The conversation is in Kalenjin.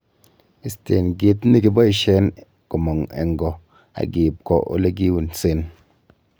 Isteen kit nekiboishen komong en goo ak iib kwo elekiunsen.